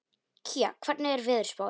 Kía, hvernig er veðurspáin?